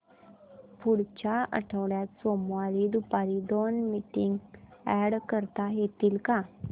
पुढच्या आठवड्यात सोमवारी दुपारी दोन मीटिंग्स अॅड करता येतील का